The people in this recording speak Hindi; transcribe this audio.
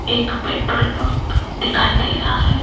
एक पेट्रोल पंप दिखाई दे रहा है।